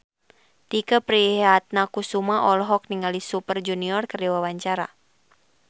Tike Priatnakusuma olohok ningali Super Junior keur diwawancara